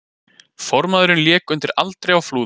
Formaðurinn lék undir aldri á Flúðum